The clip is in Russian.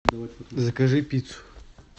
закажи пиццу